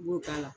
I b'o k'a la